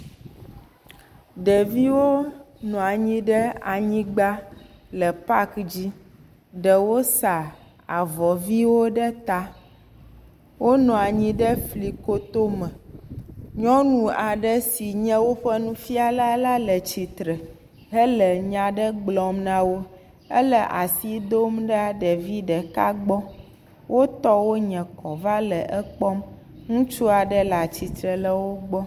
Ɖeviwo nɔa nyi ɖe anyigba le paki dzi. Ɖewo sa avɔ ʋiwo ɖe ta. Wonɔa nyi ɖe flikoto me. Nyɔnu aɖe si nye woƒe nufiala la le tsitre hele nya aɖe gblɔm na wo. Ele asi dom ɖa ɖe ɖevi ɖeka gbɔ. Wo tɔwo nye kɔ va le ekpɔm. Ŋutsua ɖe le tsitre le wo gbɔ.